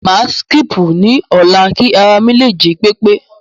Màá síkípù ni ọ̀lá kí ara mi lè jí pépé.